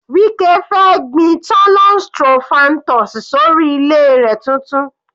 Wike fẹ́ gbin thollon strophanthus sórí ilẹ̀ rẹ̀ tuntun.